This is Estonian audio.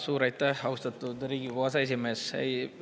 Suur aitäh, austatud Riigikogu aseesimees!